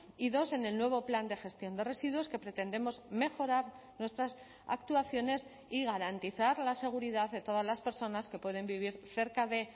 y dos en el nuevo plan de gestión de residuos que pretendemos mejorar nuestras actuaciones y garantizar la seguridad de todas las personas que pueden vivir cerca de